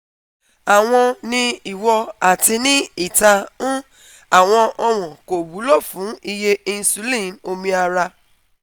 awọn ni iwo ati ni ita n awọn ọwọn ko wulo fun iye insulin omi ara